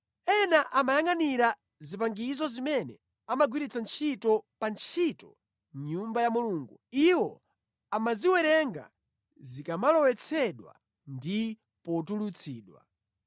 Ena amayangʼanira zipangizo zimene amagwiritsa ntchito pa ntchito mʼNyumba ya Mulungu. Iwo amaziwerenga zikamalowetsedwa ndi potulutsidwa.